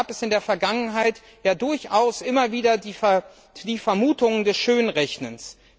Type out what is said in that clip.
Da gab es in der Vergangenheit durchaus immer wieder die Vermutung des Schönrechnens.